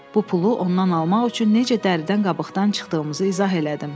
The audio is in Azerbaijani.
Bu pulu ondan almaq üçün necə dəridən qabıqdan çıxdığımızı izah elədim.